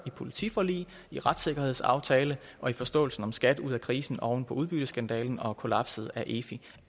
i politiforliget i retssikkerhedsaftalen og i forståelsen af skat ud af krisen oven på udbytteskandalen og kollapset af efi